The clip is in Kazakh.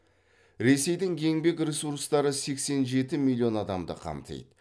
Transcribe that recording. ресейдің еңбек ресурстары сексен жеті миллион адамды қамтиды